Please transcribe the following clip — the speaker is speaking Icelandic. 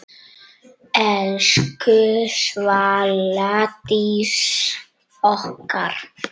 Elsku Svala Dís okkar.